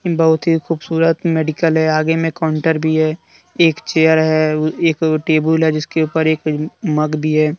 बहुत ही खूबसूरत मेडिकल हैआगे में काउंटर भी है एक चेयर है एक टेबुल भी हैजिसके ऊपर एक मग भी है।